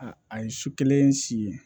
A a ye su kelen si ye